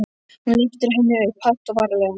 Hún lyftir henni upp, hægt og varlega.